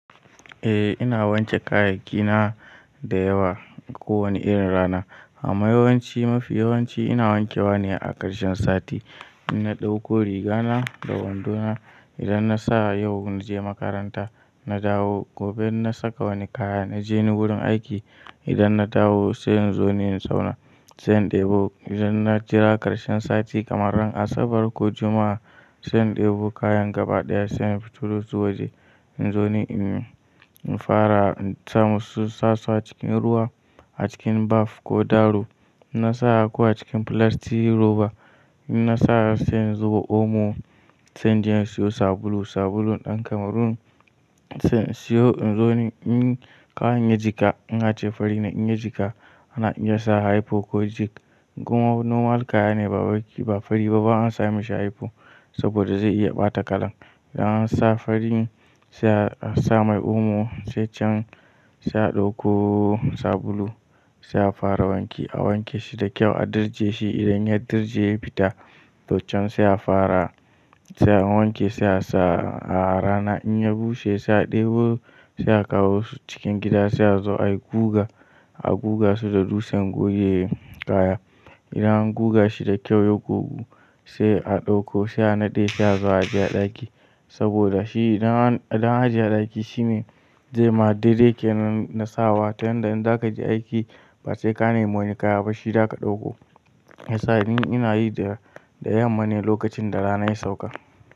Eh ina wanke kayayyakina da yawa ko wani irin rana. Amma yawanci mafi yawanci ina wanke wa ne a ƙarshen sati. Inna ɗauko riga na da wando na idan na sa yau na je makaranta, na dawo. Gobe inna saka wani kaya na je ni wurin aiki. Idan na dawo sai in zo ne in zauna, sai in ɗebo. Idan na jira ƙarshen sati kamar ran Asabar ko Juma'a sai in ɗebo kayan gaba ɗaya sai in fito dasu wa je in zo ne in fara in samu su suna cikin ruwa a cikin bath ko daro. Inna sa ko acikin filasti roba. Inna sa sai in zuba omo sai jin siyo sabulu, sabulun ɗan Cameroon. Sai in siyo in zo ne in kayan ya jika, in ace fari ne in ya jika na iya sa hypo ko jig kuma normal kaya ne ba fari ba an sami shi hypo saboda zai iya ɓata kalan. Idan an sa fari sai an sa mai omo sai can sai a ɗauko sabulu sai a fara wanki. A wanke shi da kyau, a dirje shi idan ya dirje ya fita. Tochen sai a fara sai an wanke sai a sa a rana. In ya bushe sai a ɗebo sai a kawo su cikin gida sai a zo ai guga, a guga su da dutsen goge kaya. Idan an guga shi da kyau ya gogu sai a ɗauko sai a naɗe sai a zo a ajiye a ɗaki saboda shi idan an ajiye a ɗaki shine zai ma dai daiel ke nan na sawa. Ta yanda in za ka je aiki ba sai ka nemi wani kaya ba shi za ka ɗauko. Ya sa ni ina yi da yamma ne lokacin da rana ya sauka.